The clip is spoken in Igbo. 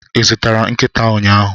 Ị zụtara nkịta ụnyahụ?